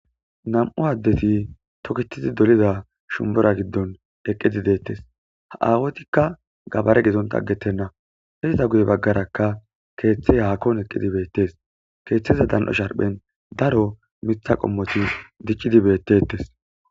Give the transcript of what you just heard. Nam'u addeti tooketidi dollida shunbbura giddon eqqidi deettes ha awattika gaabare giddontta aggetena izzeta guyye baggarakka keththey haakon eqqidi bettes keththaza dan7o qommon daaro miththa qommoti diccidi bettetes.